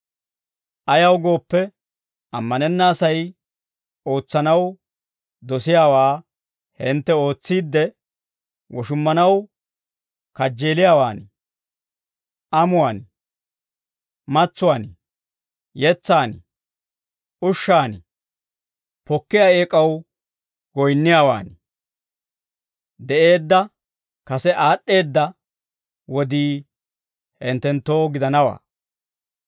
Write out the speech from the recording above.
Ayaw gooppe, ammanenna Asay ootsanaw dosiyaawaa hintte ootsiidde, woshummanaw kajjeeliyaawaan, amuwaan, matsuwaan, yetsaan, ushshaan, pokkiyaa eek'aw goyinniyaawan, de'eedda kase aad'd'eedda wodii hinttenttoo gidanawaa.